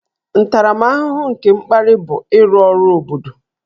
Ntaramahụhụ nke mkparị bụ ịrụ ọrụ obodo